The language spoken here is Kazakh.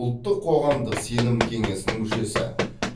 ұлттық қоғамдық сенім кеңесінің мүшесі